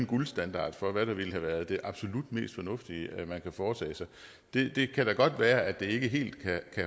guldstandard for hvad der ville have været det absolut mest fornuftige man kunne have foretaget sig det kan da godt være at det ikke helt kan